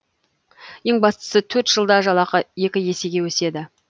ең бастысы төрт жылда жалақы екі есеге өседі